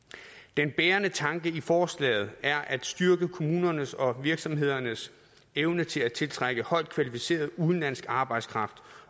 den bærende tanke i forslaget er at styrke kommunernes og virksomhedernes evne til at tiltrække højt kvalificeret udenlandsk arbejdskraft